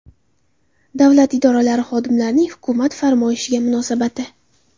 Davlat idoralari xodimlarining hukumat farmoyishiga munosabati.